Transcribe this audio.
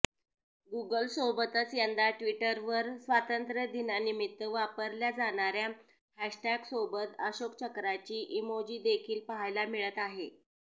गूगलसोबतच यंदा ट्विटरवर स्वातंत्र्यदिनानिमित्त वापरल्या जाणाऱ्या हॅशटॅगसोबत अशोकचक्राची इमोजीदेखील पाहायला मिळत आहे